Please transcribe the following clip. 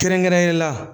Kɛrɛnkɛrɛnnenya la